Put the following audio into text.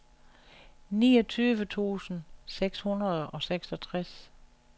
niogtyve tusind seks hundrede og seksogtres